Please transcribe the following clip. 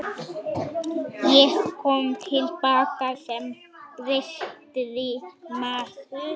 Ég kom til baka sem betri maður.